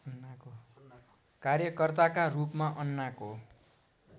कार्यकर्ताका रूपमा अन्नाको